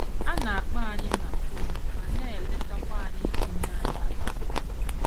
Ha na - akpọ anyị na fon ma na - eletakwa anyị iji nye anyị agbamume.